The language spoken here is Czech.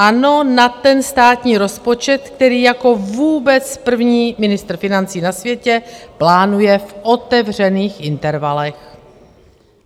Ano, na ten státní rozpočet, který jako vůbec první ministr financí na světě plánuje v otevřených intervalech.